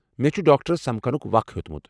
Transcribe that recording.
مےٚ چھُ ڈاکٹرس سمكھنُك وخ ہیو٘تمُت ۔